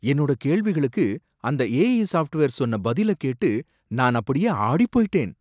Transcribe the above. என்னோட கேள்விகளுக்கு அந்த ஏஐ சாஃப்ட்வேர் சொன்ன பதில கேட்டு நான் அப்படியே ஆடிப் போயிட்டேன்